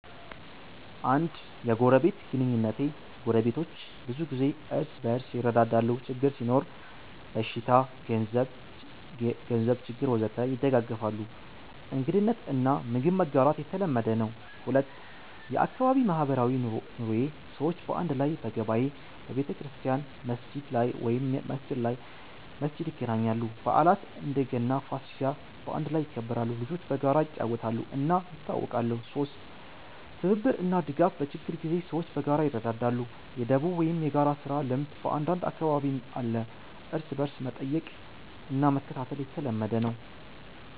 1. የጎረቤት ግንኙነቴ ጎረቤቶች ብዙ ጊዜ እርስ በርስ ይረዳዳሉ ችግር ሲኖር (በሽታ፣ ገንዘብ ችግር ወዘተ) ይደጋገፋሉ እንግድነት እና ምግብ መጋራት የተለመደ ነው 2. የአካባቢ ማህበራዊ ኑሮዬ ሰዎች በአንድ ላይ በገበያ፣ በቤተክርስቲያን/መስጊድ ይገናኛሉ በዓላት (እንደ ገና፣ ፋሲካ) በአንድ ላይ ይከበራሉ ልጆች በጋራ ይጫወታሉ እና ይተዋወቃሉ 3. ትብብር እና ድጋፍ በችግር ጊዜ ሰዎች በጋራ ይረዳዳሉ የ“ደቦ” ወይም የጋራ ስራ ልምድ በአንዳንድ አካባቢ አለ እርስ በርስ መጠየቅ እና መከታተል የተለመደ ነው